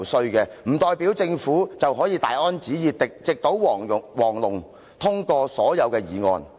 她說這不代表政府可以大安旨意、直搗黃龍，通過所有議案。